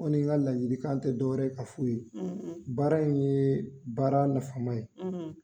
Ne kɔni ka ladilikan tɛ dɔwɛrɛ ye ka fu ye, baara in ye baara nafama ye